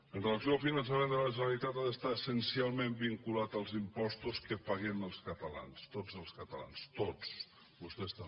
amb relació al finançament de la generalitat ha d’estar essencialment vinculat als impostos que paguem els catalans tots els catalans tots vostès també